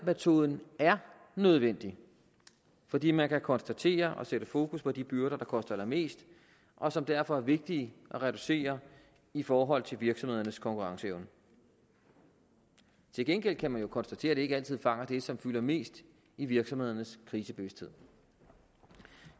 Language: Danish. metoden er nødvendig fordi man kan konstatere og sætte fokus på de byrder der koster allermest og som derfor er vigtige at reducere i forhold til virksomhedernes konkurrenceevne til gengæld kan man jo konstatere at det ikke altid fanger det som fylder mest i virksomhedernes krisebevidsthed